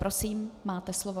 Prosím, máte slovo.